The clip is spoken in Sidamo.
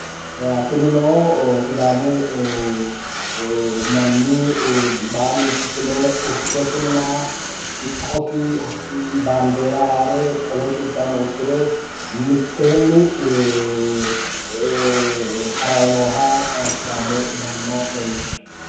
Tinino sidaamu manni baalunku fule urdesinna siqqosi baandeera haare qolosi uddire uddano uddire mitteenni harayi nooha sidaamu manna leellishshanno.